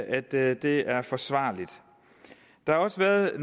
at det det er forsvarligt der har også været